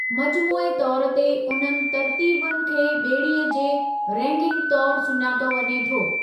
मजमूई तौर ते उन्हनि तर्तीबुनि खे ॿेड़ीअ जे रैगिंग तौर सुञातो वञे थो।